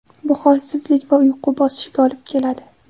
Bu holsizlik va uyqu bosishiga olib keladi.